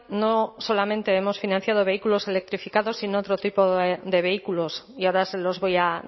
no solamente hemos financiado vehículos electrificados sino otro tipo de vehículos y ahora se los voy a